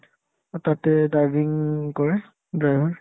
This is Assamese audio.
to তাতে driving কৰে driver